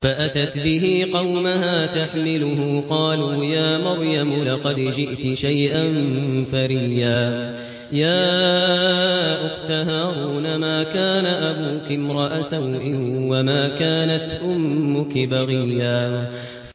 فَأَتَتْ بِهِ قَوْمَهَا تَحْمِلُهُ ۖ قَالُوا يَا مَرْيَمُ لَقَدْ جِئْتِ شَيْئًا فَرِيًّا